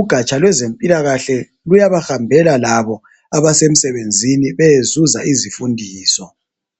ugatsha lwezempilakahle luyabahambela labo abasemsebenzini beyezuza izifundiso.